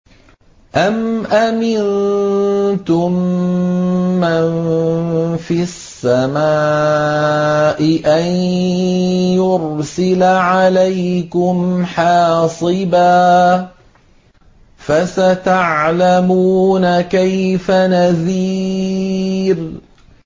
أَمْ أَمِنتُم مَّن فِي السَّمَاءِ أَن يُرْسِلَ عَلَيْكُمْ حَاصِبًا ۖ فَسَتَعْلَمُونَ كَيْفَ نَذِيرِ